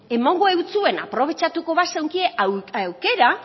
emango eutsuena aprobetxatuko bazeunkie aukera